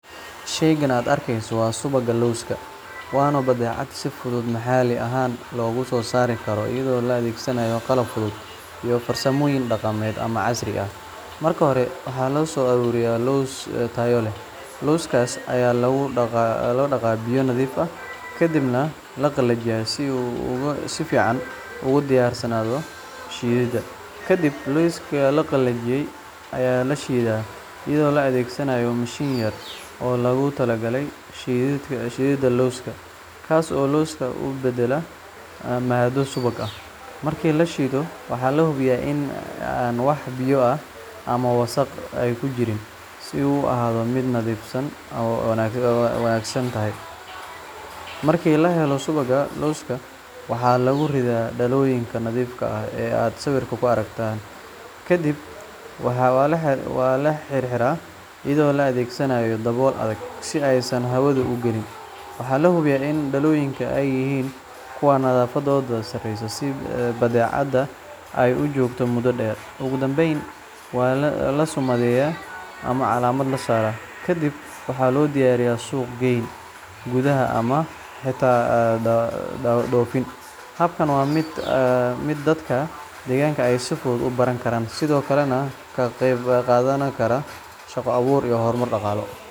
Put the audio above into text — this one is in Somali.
Shaygan aad arkayso waa subagga lowska, waana badeecad si fudud maxalli ahaan loogu soo saari karo iyadoo la adeegsado qalab fudud iyo farsamooyin dhaqameed ama casri ah. Marka hore, waxaa la soo ururiyaa lows tayo leh. Lowskaas ayaa lagu dhaqaa biyo nadiif ah kadibna la qalajiyaa si uu si fiican ugu diyaarsanaado shiididda. Kadib, lowska la qalajiyey ayaa la shiidaa iyadoo la adeegsanayo mishiin yar oo loogu talagalay shiididda lowska, kaas oo lowska u beddela maaddo subag ah. Marka la shiido, waxaa la hubiyaa in aan wax biyo ama wasakh ah ku jirin si uu u ahaado mid nadaafadiisu wanaagsan tahay. Markii la helo subagga lowska, waxaa lagu ridaa dhalooyinka nadiifka ah ee aad sawirka ku aragtay, kadibna waa la xirxiraa iyadoo la adeegsanayo dabool adag si aysan hawadu u gelin. Waxaa la hubiyaa in dhalooyinka ay yihiin kuwo nadaafadoodu sareyso si badeecada ay u joogto muddo dheer. Ugu dambeyn, waa la summadeeyaa ama calaamad la saaraa, kadibna waxaa loo diyaariyaa suuq-geyn gudaha ah ama xitaa dhoofin. Habkan waa mid dadka deegaanka ay si fudud u baran karaan, sidoo kalena ka qeyb qaadan kara shaqo abuur iyo horumar dhaqaale.